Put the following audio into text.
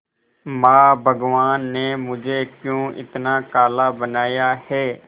मां भगवान ने मुझे क्यों इतना काला बनाया है